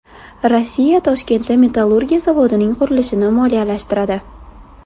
Rossiya Toshkentda metallurgiya zavodining qurilishini moliyalashtiradi.